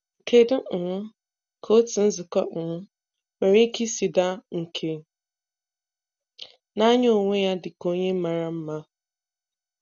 Kedu um ka otu nzukọ um nwere ike isi daa nke na-anya onwe ya dị ka onye mara mma?